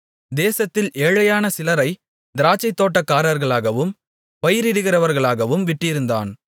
தேசத்தில் ஏழையான சிலரைத் திராட்சைத்தோட்டக்காரர்களாகவும் பயிரிடுகிறவர்களாகவும் விட்டிருந்தான்